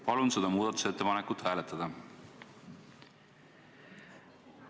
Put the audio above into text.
Palun seda muudatusettepanekut hääletada!